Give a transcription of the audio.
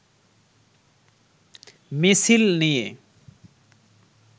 মিছিল নিয়ে